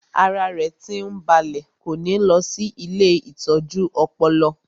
Ara rẹ̀ tí ń balẹ̀ kò ní lọ sí ilée ìtọ́jú ọpọlọ